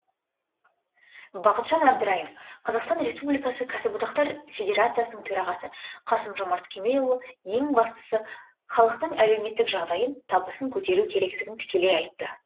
бақытжан әбдірайым қазақстан республикасы кәсіподақтар федерациясының төрағасы қасым жомарт кемелұлы ең бастысы халықтың әлеуметтік жағдайын табысын көтеру керектігін тікелей айтты